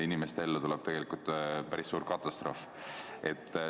Inimeste ellu tuleb tegelikult päris suur katastroof.